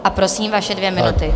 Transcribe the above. A prosím, vaše dvě minuty.